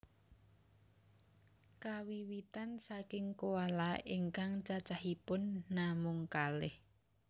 Kawiwitan saking koala ingkang cacahipun namung kalih